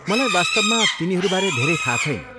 मलाई वास्तवमा तिनीहरूबारे धेरै थाहा छैन।